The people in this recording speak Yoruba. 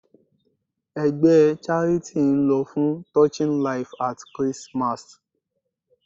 Ẹgbẹ́ charity ń lọ fún Touching life at Christmas.